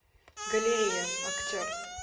галерея актер